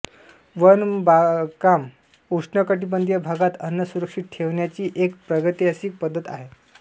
one बागकाम उष्णकटिबंधीय भागात अन्न सुरक्षित ठेवण्याची एक प्रागैतिहासिक पद्धत आहे